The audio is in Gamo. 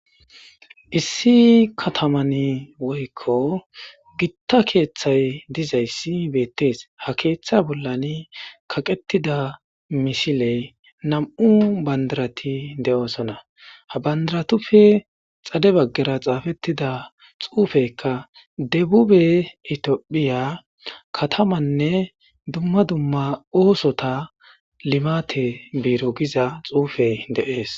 Issi kataman woykko gitta keeththay dizayssi beettees ha keeththa bollani kaqettida misiley nam'u bandarati de'oosona ha bandaratufe xade baggara xaafettida xuufekka debube itiophiya katamanne dumma dumma oosota limate biiro giza xuufe deees.